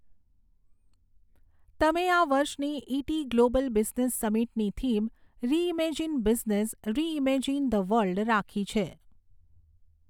તમે આ વર્ષની ઈટી ગ્લોબલ બિઝનેસ સમિટની theme reimagine business, reimagine the world રાખી છે.